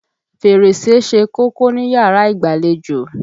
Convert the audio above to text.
Fèrèsé ṣe kókó níyàrá ìgbàlejò.